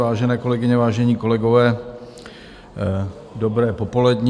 Vážené kolegyně, vážení kolegové, dobré popoledne.